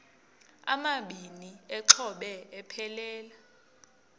amabini exhobe aphelela